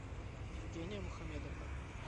евгения мухамедовна